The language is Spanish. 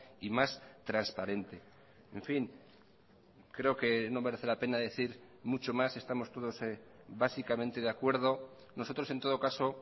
y más transparente en fin creo que no merece la pena decir mucho más estamos todos básicamente de acuerdo nosotros en todo caso